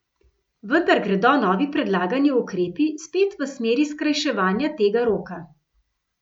Vendar gredo novi predlagani ukrepi spet v smeri skrajševanja tega roka.